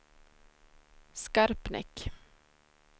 Skarpnäck